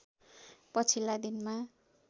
पछिल्ला दिनमा